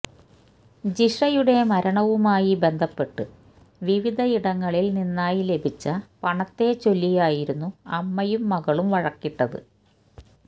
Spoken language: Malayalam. ജിഷയുടെ മരണവുമായി ബന്ധപ്പെട്ട് വിവിധയിടങ്ങളിൽ നിന്നായി ലഭിച്ച പണത്തെച്ചൊല്ലിയായിരുന്നു അമ്മയും മകളും വഴക്കിട്ടത്